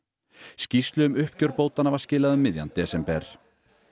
skýrslu um uppgjör bótanna var skilað um miðjan desember